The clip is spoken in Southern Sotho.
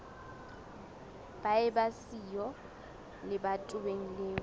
ba eba siyo lebatoweng leo